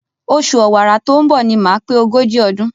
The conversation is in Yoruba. Oṣù Ọ̀wàrà tó ń bọ̀ ni màá pé ogójì ọdún.